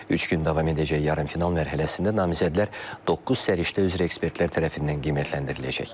Üç gün davam edəcək yarımfinal mərhələsində namizədlər doqquz səriştə üzrə ekspertlər tərəfindən qiymətləndiriləcək.